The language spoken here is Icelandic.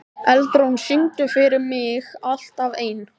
Eldrún, syngdu fyrir mig „Alltaf einn“.